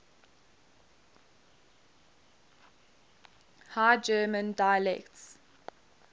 high german dialects